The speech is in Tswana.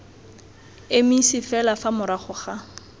emise fela fa morago ga